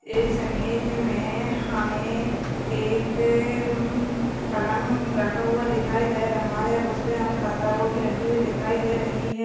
इस इमेज में हमें एक उम्म पलंग रखा हुआ दिखाई दे रहा है। उसपे हमें पत्ता गोभी रखी हुई दिखाई दे रही है।